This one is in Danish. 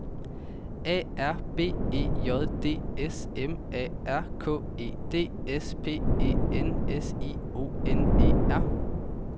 A R B E J D S M A R K E D S P E N S I O N E R